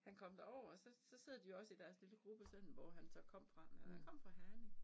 Han kom derover og så så sidder de jo også i deres lille gruppe sådan hvor han så kom fra men han kom fra Herning